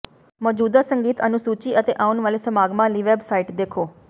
ਮੌਜੂਦਾ ਸੰਗੀਤ ਅਨੁਸੂਚੀ ਅਤੇ ਆਉਣ ਵਾਲੇ ਸਮਾਗਮਾਂ ਲਈ ਵੈਬਸਾਈਟ ਦੇਖੋ